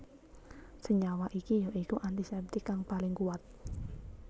Senyawa iki ya iku antiseptik kang paling kuwat